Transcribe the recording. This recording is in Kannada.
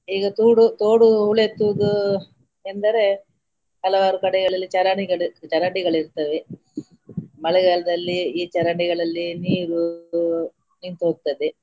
ಈಗ ತೂಡು ತೋಡು ಹೂಳೆತ್ತುವುದು ಎಂದರೆ ಹಲವಾರು ಕಡೆಗಳಲ್ಲಿ ಚರಂಡಿಗಳು ಚರಂಡಿಗಳಿರ್ತವೆ ಮಳೆಗಾಲದಲ್ಲಿ ಈ ಚರಂಡಿಗಳಲ್ಲಿ ನೀರು ನಿಂತು ಹೋಗ್ತದೆ.